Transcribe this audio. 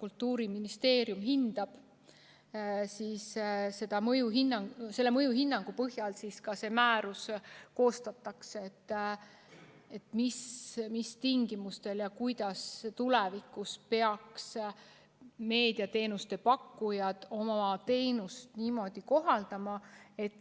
Kultuuriministeerium hindab nende mõju ja selle mõjuhinnangu põhjal koostataksegi määrus, et mis tingimustel ja kuidas peaksid tulevikus meediateenuste pakkujad oma teenust kohandama, et